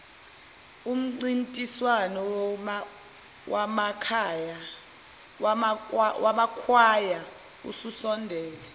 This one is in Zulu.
umncintiswano wamakwaya ususondele